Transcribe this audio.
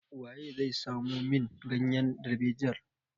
Waye zai samo min ganyen darbejiyan?